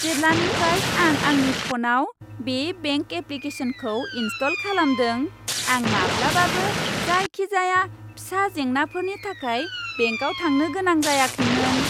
जेब्लानिफ्राय आं आंनि फ'नाव बे बेंक एप्लिकेशनखौ इनस्टल खालामदों, आं माब्लाबाबो जायखिजाया फिसा जेंनाफोरनि थाखाय बेंकाव थांनो गोनां जायाखैमोन।